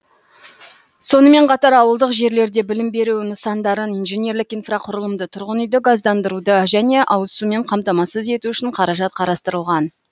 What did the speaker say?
сонымен қатар ауылдық жерлерде білім беру нысандарын инженерлік инфрақұрылымды тұрғын үйді газдандыруды және ауызсумен қамтамасыз ету үшін қаражат қарастырылған